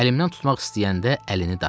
Əlimdən tutmaq istəyəndə əlini dartdı.